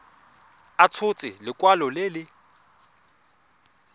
a tshotse lekwalo le le